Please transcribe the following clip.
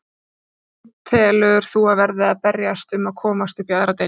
Hvaða lið telur þú að verði að berjast um að komast upp í aðra deild?